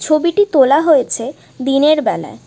ছবিটি তোলা হয়েছে দিনের বেলায়।